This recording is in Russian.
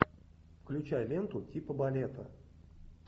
включай ленту типа балета